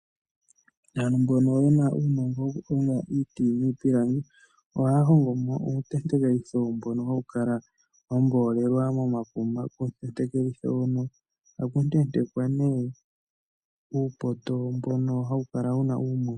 Aantu mbono yena uunongo woku honga iipilangi, ohaya hongo mo uutentekelitho mbono hawu kala wa mboolelwa momakuma. Uutentekelitho mbono ohaku tentekwa nee uupoto mbono hawu kala wuna uumuti.